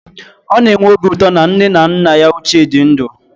Ọ na-enwe obi ụtọ na nne na nna ya ochie dị ndụ